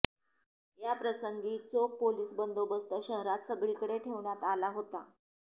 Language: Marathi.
याप्रसंगी चोख पोलीस बंदोबस्त शहरात सगळीकडे ठेवण्यात आला होता